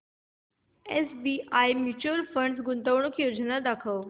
SBI mutual fund गुंतवणूक योजना दाखव